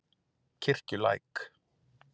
Kirkjulæk